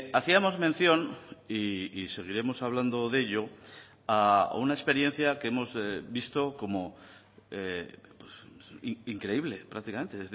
hacíamos mención y seguiremos hablando de ello a una experiencia que hemos visto como increíble prácticamente